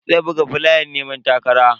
Zai buga flayan neman takara.